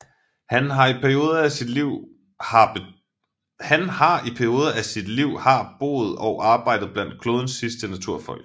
Han har i perioder af sit liv har boet og arbejdet blandt klodens sidste naturfolk